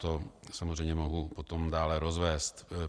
To samozřejmě mohu potom dále rozvést.